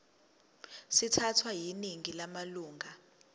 sithathwe yiningi lamalunga